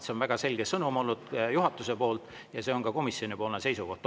See on väga selge sõnum olnud juhatuse poolt ja see on ka komisjoni seisukoht.